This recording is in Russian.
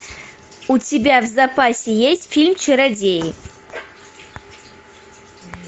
у тебя в запасе есть фильм чародеи